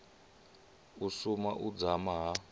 u suma u dzama ha